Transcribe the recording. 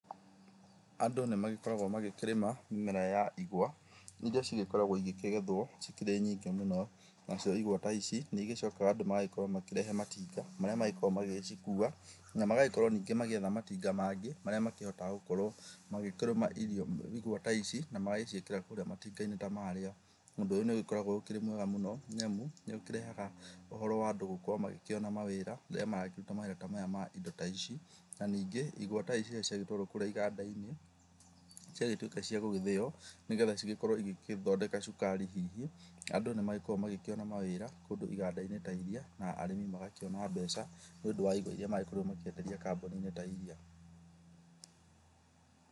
Andũ nĩ magĩkoragwo magĩkĩrĩma mĩmera ya igwa, irĩa cigĩkoragwo igĩkĩgethwo ikĩrĩ nyingĩ mũno. Nacio igwa ta ici nĩ igĩcokaga andũ magagĩkorwo makĩrehe matinga marĩa magĩkoragwo magĩgĩcikuwa. Na magagĩkorwo ningĩ magĩetha matinga mangĩ marĩa makĩhotaga gũkorwo magĩkĩrũma igwa ta ici na magagĩciĩkĩra kũrĩa matinga-inĩ ta marĩa. Ũndũ ũyũ nĩ ũgĩkoragwo ũkĩrĩ mwega mũno nĩ amu nĩ ũkĩrehaga ũhoro wa andũ gũkorwo magĩkĩona mawĩra rĩrĩa marakĩruta mawĩra ta maya ma indo ta ici. Na ningĩ igwa ta ici rĩrĩa ciagĩtwarwo kũrĩa iganda-inĩ, ciagĩtuĩka cia gũgĩthĩo nĩgetha cigĩkorwo igĩgĩthondeka cukari hihi, andũ nĩ magĩkoragwo magĩkĩona mawĩra kũndũ iganda-inĩ ta irĩa na arĩmi magakĩona mbeca, nĩ ũndũ wa indo irĩa maragĩkorwo makĩenderia kambũni-inĩ ta irĩa.